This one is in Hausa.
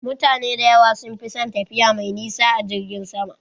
Mutane da yawa sun fi son tafiya mai nisa a jirgin sama